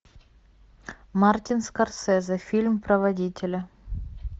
мартин скорсезе фильм про водителя